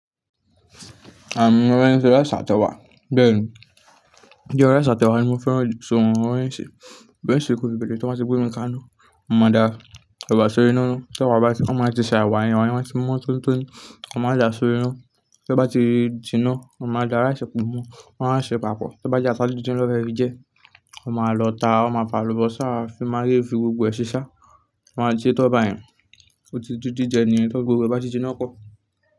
A mọ mọ bó ń ṣe ńṣe rice atẹwa, bẹ́ẹ̀ni. Ye rice atẹwa ni mo fẹ́ ran sọ mo mo ń bo ń ṣe ṣe, beṣe kú lè bẹ̀rẹ̀, tí wọ́n bá gbé omi ká iná, mo máa da ẹ̀wà sórí iná náà. Tẹ̀wà bá, wọ́n máa ti ṣà ẹ̀wà yẹn ẹ̀wà yẹn a ti mọ́ tónitóní, wọ́n máa da sórí iná. Tí ó bá ti jiná, wọ́n máa dá rice pọ̀ mọ́, wọ́n máa ṣe papọ̀. Tó bá jẹ́ ata díndín ló fẹ́ rí jẹ, wọ́n máa lọ ta, wọ́n máa fa àlùbọ́sà, fi maagi fi gbogbo ẹ̀ ṣi shá, wọ́n a ti ṣe tán bá yẹn. Ó ti dí ji jẹ ni yẹn, tí gbogbo bá ti jiná pọ̀.